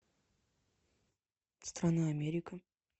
страна америка